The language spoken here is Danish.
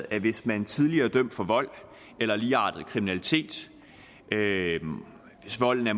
at hvis man tidligere er dømt for vold eller ligeartet kriminalitet og hvis volden er